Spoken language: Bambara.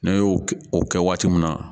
Ne y'o o kɛ waati min na